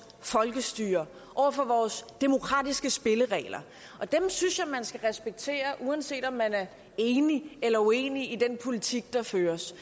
folkestyre over for vores demokratiske spilleregler og dem synes jeg man skal respektere uanset om man er enig eller uenig i den politik der føres